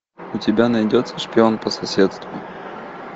у тебя найдется шпион по соседству